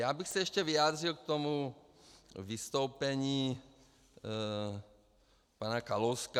Já bych se ještě vyjádřil k tomu vystoupení pana Kalouska.